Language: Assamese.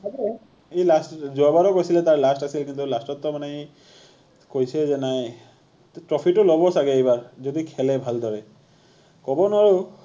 ই last যোৱাবাৰো কৈছিলে তাৰ last আছিল কিন্তু last ত তাৰমানে কৈছে যে নাই trophy টো লব চাগে এইবাৰ যদি খেলে ভালদৰে